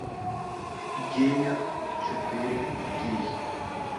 геймер четыре кей